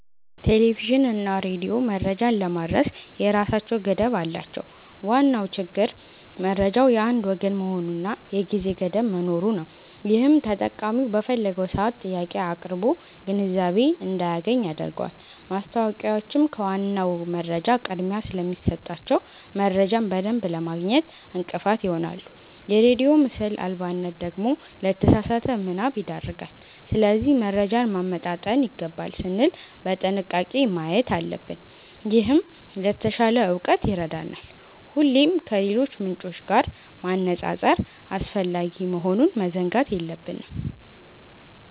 ቴሌቪዥንና ሬዲዮ መረጃን ለማድረስ የራሳቸው ገደብ አላቸው። ዋናው ችግር መረጃው የአንድ ወገን መሆኑና የጊዜ ገደብ መኖሩ ነው፤ ይህም ተጠቃሚው በፈለገው ሰዓት ጥያቄ አቅርቦ ግንዛቤ እንዳያገኝ ያደርገዋል። ማስታወቂያዎችም ከዋናው መረጃ ቅድሚያ ስለሚሰጣቸው፣ መረጃን በደንብ ለማግኘት እንቅፋት ይሆናሉ። የሬዲዮ ምስል አልባነት ደግሞ ለተሳሳተ ምናብ ይዳርጋል። ስለዚህ መረጃን ማመጣጠን ይገባል ስንል በጥንቃቄ ማየት አለብን፤ ይህም ለተሻለ እውቀት ይረዳናል። ሁሌም ከሌሎች ምንጮች ጋር ማነጻጸር አስፈላጊ መሆኑን መዘንጋት የለብንም።